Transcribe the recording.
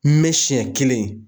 N me sɛn kelen